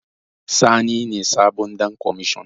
Sani ne sabon Ɗan kwamashon.